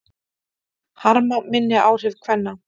Harma minni áhrif kvenna